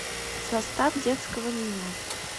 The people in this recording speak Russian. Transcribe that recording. состав детского меню